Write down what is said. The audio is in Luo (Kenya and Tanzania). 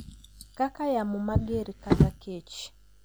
kaka yamo mager kata kech.